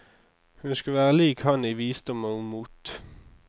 Hun skulle være lik han i visdom og mot.